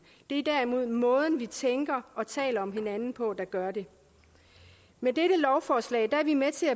det er derimod måden vi tænker og taler om hinanden på der gør det med dette lovforslag er vi med til